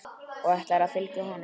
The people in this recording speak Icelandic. Og ætlarðu að fylgja honum?